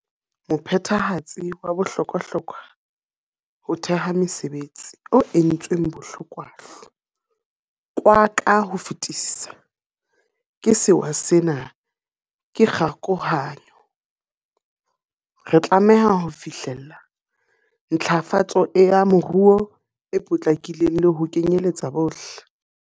Mophethehatsi wa bohlokwa-hlokwa ho theha mesebe tsi, o entsweng bohlokwahlo kwa ka ho fetisisa ke sewa sena, ke kgokahanyo. Re tlameha ho fihlella ntlafa tso ya moruo e potlakileng le ho kenyeletsa bohle.